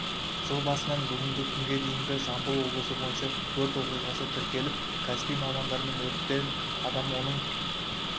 жыл басынан бүгінгі күнге дейінгі жамбыл облысы бойынша өрт оқиғасы тіркеліп кәсіби мамандармен өрттен адам оның